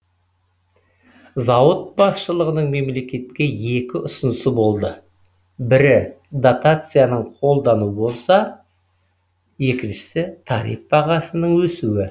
зауыт басшылығының мемлекетке екі ұсынысы болды бірі дотацияның қолдану болса екіншісі тариф бағасының өсуі